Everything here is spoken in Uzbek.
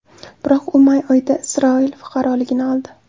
Biroq u may oyida Isroil fuqaroligini oldi.